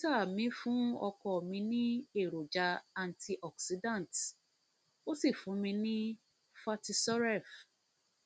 dókítà mi fún ọkọ mi ní èròjà antioxidants ó sì fún mi ní fertisuref